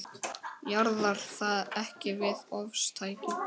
Jaðrar það ekki við ofstæki?